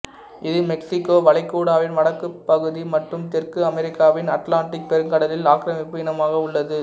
இது மெக்சிகோ வளைகுடாவின் வடக்கு பகுதி மற்றும் தெற்கு அமெரிக்காவின் அட்லாண்டிக் பெருங்கடலில் ஆக்கிரமிப்பு இனமாக உள்ளது